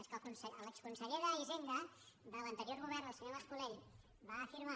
és que l’exconseller d’hisenda de l’anterior govern el senyor mas colell va afirmar